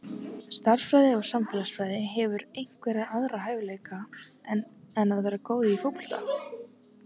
Stærðfræði og samfélagsfræði Hefurðu einhverja aðra hæfileika en að vera góð í fótbolta?